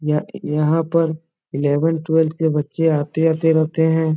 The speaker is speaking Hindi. यह यहाँ पर एलेवेन ट्वेल्थ के बच्चे आते-आते रहते हैं।